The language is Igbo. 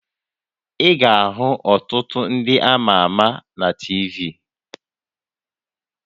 Ị ga-ahụ ọtụtụ ndị ama ama na TV